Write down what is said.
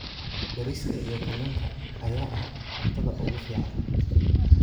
Bariiska iyo kalluunka ayaa ah cuntada ugu fiican.